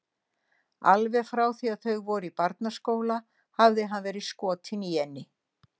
Alveg frá því að þau voru í barnaskóla hafði hann verið skotinn í henni.